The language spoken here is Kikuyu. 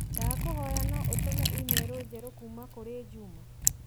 Ndagũkũhoya no ũtũme i-mīrū njerũ kũrĩ Njuma?